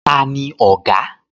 Tani ọ̀gá?